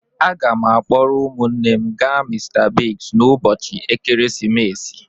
Aga m akpọrọ ụmụnne m ga Mr Biggs n'ụbọchị ekeresimesi.